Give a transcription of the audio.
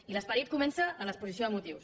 i l’esperit comença a l’exposició de motius